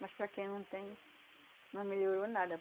Mas para quem não tem, não melhorou nada.